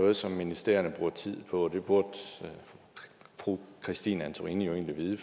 noget som ministerierne bruger tid på og det burde fru christine antorini egentlig vide